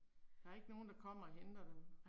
Der er ikke nogen der kommer og henter dem